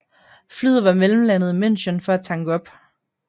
Flyet var mellemlandet i München for at tanke op